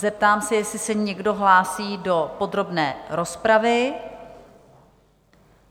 Zeptám se, jestli se někdo hlásí do podrobné rozpravy?